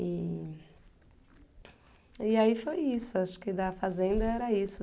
E... e aí foi isso, acho que da fazenda era isso.